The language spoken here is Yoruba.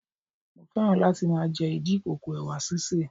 Mo féràn láti máa jẹ ìdí ìkòkò Ẹ̀wà sísè.